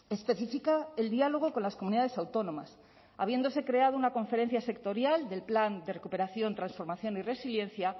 especifica el diálogo con las comunidades autónomas habiéndose creado una conferencia sectorial del plan de recuperación transformación y resiliencia